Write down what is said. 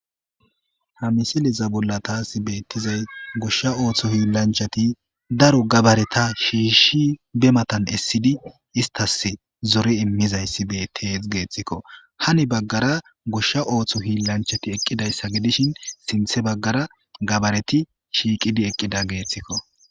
ha misiliza bolla taasi beettizay goshsha ooththo hiillanchati daro gabareta shiishshi be matan essidi istas zore immizayssibetee geeththikko hani baggara goshsha ooththo hiillanchati eqqidayssa gedishin sinthe baggara gabareti shiiqidi eqqida geeththikko